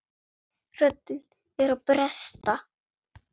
Röddin er að bresta.